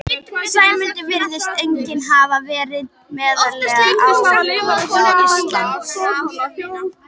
Sæmundur virðist einnig hafa verið meðal áhrifamanna á Íslandi.